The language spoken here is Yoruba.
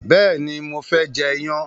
béèni mo fé jê iyán.